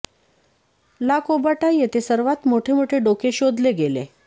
ला कोबाटा येथे सर्वांत मोठे मोठे डोके शोधले गेले